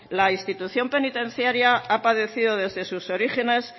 la institución penitenciaria ha padecido desde sus origines